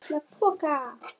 LITLA POKA!